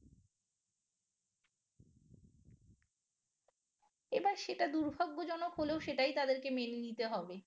এবার সেটা দুর্ভাগ্যজনক হলেও সেটাই তাদেরকে মেনে নিতে হবে